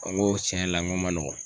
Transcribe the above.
ŋo tiɲɛ yɛrɛ la ŋ'o ma nɔgɔn.